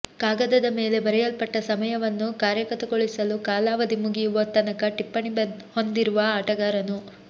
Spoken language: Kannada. ಕಾಗದದ ಮೇಲೆ ಬರೆಯಲ್ಪಟ್ಟ ಸಮಯವನ್ನು ಕಾರ್ಯಗತಗೊಳಿಸಲು ಕಾಲಾವಧಿ ಮುಗಿಯುವ ತನಕ ಟಿಪ್ಪಣಿ ಹೊಂದಿರುವ ಆಟಗಾರನು